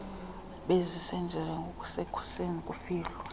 bezisenziwa ngokusekhusini kufihlwa